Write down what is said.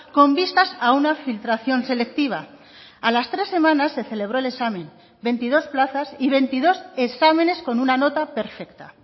con vistas a una filtración selectiva a las tres semanas se celebró el examen veintidós plazas y veintidós exámenes con una nota perfecta